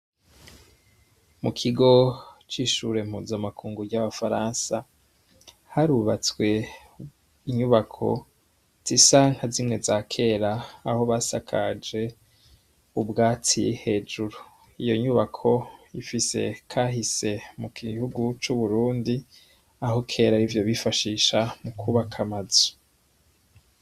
Mukigo cishure mpuzamakungu ryabafaransa harubatswe inyubako zisa nkazimwe zakera aho basakaje ubwatsi hejuru iyonyubako ifise kahise mugihugu cuburundi aho kera arivyo bifashisha mukubaka amazu